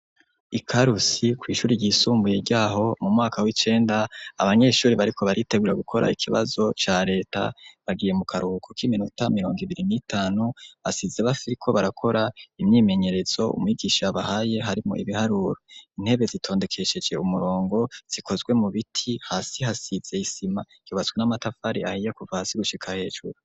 Ikarusi kw'ishure ryisumbuye ryaho mu mwaka w'icenda, abanyeshure bariko baritegura gukora ikibazo ca Reta bagiye mu karuhuko k'iminota mirongo ibiri n'itanu hasize bakiriko barakora imyimenyerezo umwigisha yabahaye harimwo ibiharuro, intebe zitondekesheje umurongo zikozwe mu biti hasi hasize isima ryubatswe n'amatafari ahiye kuva hasi gushika hejuru.